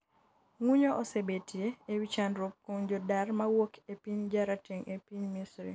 ng'unyo osebetie e wi chandruok kuom jodar mawuok e piny jarateng' e piny Misri